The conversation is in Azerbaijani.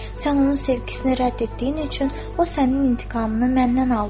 Sən onun sevgisini rədd etdiyin üçün o sənin intiqamını məndən aldı."